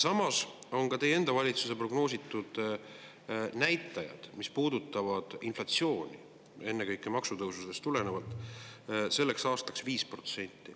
Samas on ka teie enda valitsuse prognooside järgi inflatsioon, ennekõike maksutõusudest tulenevalt, sellel aastal 5%.